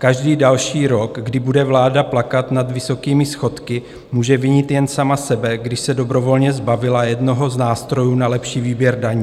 Každý další rok, kdy bude vláda plakat nad vysokými schodky, může vinit jen sama sebe, když se dobrovolně zbavila jednoho z nástrojů na lepší výběr daní.